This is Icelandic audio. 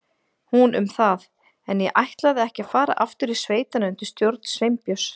Hún um það, en ég ætlaði ekki að fara aftur í sveitina undir stjórn Sveinbjörns.